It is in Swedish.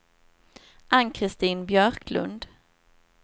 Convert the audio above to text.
Ann-Kristin Björklund